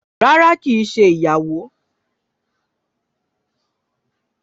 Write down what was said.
Rárá ki é ṣe ìyàwó